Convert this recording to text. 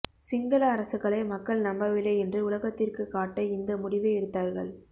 சிங்கள அரசுகளை மக்கள் நம்பவில்லை என்று உலகத்திற்கு காட்ட இந்த முடிவை எடுத்தார்கள்